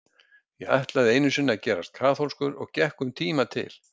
Ég ætlaði einu sinni að gerast kaþólskur og gekk um tíma til